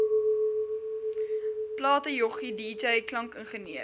platejoggie dj klankingenieur